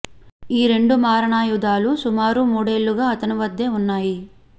ఈ రెండు మారణాయుధాలు సుమారు మూడేళ్లుగా అతని వద్దే ఉన్నాయి